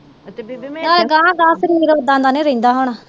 ਨਾਲੇ ਗਾਹਾ ਗਾਹਾ ਸਰੀਰ ਓਦਾਂ ਦਾ ਨੀ ਰਹਿੰਦਾ ਹਨਾ